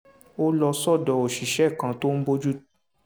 ó lọ sọ́dọ̀ òṣìṣẹ́ kan tó ń bójú